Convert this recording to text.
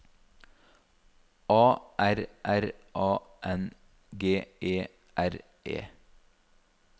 A R R A N G E R E